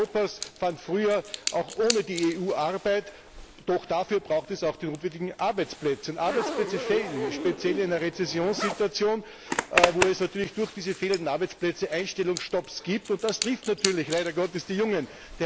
Die Jugend Europas fand früher auch ohne die EU Arbeit, doch dafür braucht es auch die notwendigen Arbeitsplätze. Arbeitsplätze fehlen, speziell in der Rezessionssituation, wo es natürlich durch diese fehlenden Arbeitsplätze Einstellungsstopps gibt, und das trifft natürlich leider Gottes die Jungen.